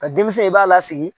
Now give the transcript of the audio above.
Nka denmisɛn in b'a lasigi